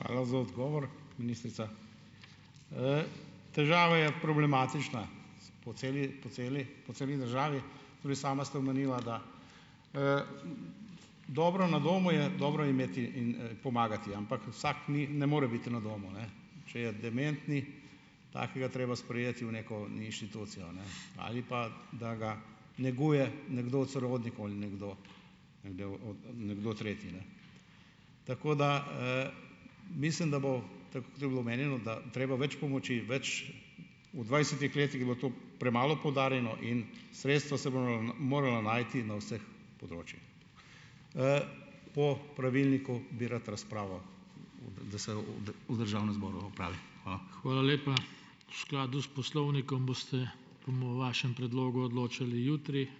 Hvala za odgovor, ministrica. Težava je problematična po celi, po celi, po celi državi. Tudi sama ste omenila, da, dobro na domu je, dobro imeti in, pomagati, ampak vsak ni, ne more biti na domu, ne. Če je dementni, takega je treba sprejeti v neko inštitucijo, a ne, ali pa, da ga neguje nekdo od sorodnikov ali nekdo, nekdo od, nekdo tretji, ne. Tako da, mislim, da bo, tako je bilo omenjeno, da je treba več pomoči, več, v dvajsetih letih je bilo to premalo poudarjeno in sredstva se morala najti na vseh področjih. Po pravilniku bi rad razpravo, da se v v državnem zboru opravi. Hvala.